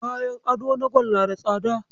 Kayan ado na gwal na da tsada.